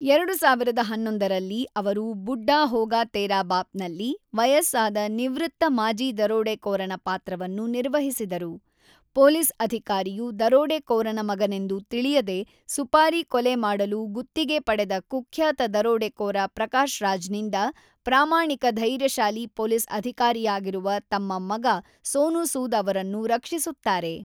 ೨೦೧೧ ರಲ್ಲಿ ಅವರು 'ಬುಡ್ಡಾ ಹೋಗಾ ತೇರಾ ಬಾಪ್' ನಲ್ಲಿ ವಯಸ್ಸಾದ ನಿವೃತ್ತ ಮಾಜಿ ದರೋಡೆಕೋರನ ಪಾತ್ರವನ್ನು ನಿರ್ವಹಿಸಿದರು, ಪೊಲೀಸ್ ಅಧಿಕಾರಿಯು ದರೋಡೆಕೋರನ ಮಗನೆಂದು ತಿಳಿಯದೆ ಸುಪಾರಿ ಕೊಲೆ ಮಾಡಲು ಗುತ್ತಿಗೆ ಪಡೆದ ಕುಖ್ಯಾತ ದರೋಡೆಕೋರ ಪ್ರಕಾಶ್ ರಾಜ್‌ನಿಂದ ಪ್ರಾಮಾಣಿಕ ಧೈರ್ಯಶಾಲಿ ಪೊಲೀಸ್ ಅಧಿಕಾರಿಯಾಗಿರುವ ತಮ್ಮ ಮಗ ಸೋನು ಸೂದ್ ಅವರನ್ನು ರಕ್ಷಿಸುತ್ತಾರೆ.